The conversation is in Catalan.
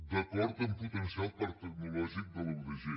d’acord a potenciar el parc tecnològic de la udg